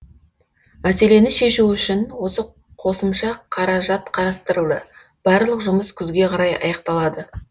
мәселені шешу үшін қосымша қаражат қарастырылды барлық жұмыс күзге қарай аяқталады